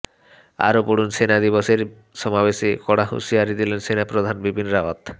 আরও পড়ুন সেনা দিবসের সমাবেশে কড়া হুঁশিয়ারি দিলেন সেনাপ্রধান বিপিন রাওয়াত